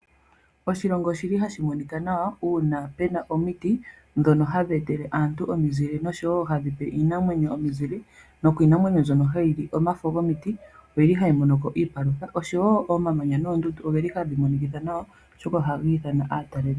Oshilongo oshili hashi monika nawa uuna puna omiti ndhono hadhi etele aantu omizile noshowo hadhipe iinamwenyo omizile. Nokiinamwenyo mbyono hayi li omafo gomiti oyili hayi mono ko iipalutha oshowo omamanya noondundu odhili hadhi monikitha nawa oshoka ohadhi nana aatalelipo.